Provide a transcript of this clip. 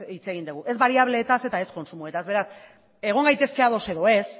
hitz egin dugu ez bariableetaz eta ez kontsumoetaz eta beraz egon gaitezke ados edo ez